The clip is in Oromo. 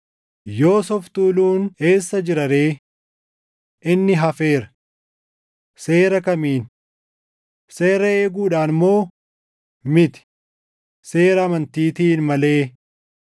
Yoos of tuuluun eessa jira ree? Inni hafeera. Seera kamiin? Seera eeguudhaan moo? Miti; seera amantiitiin malee.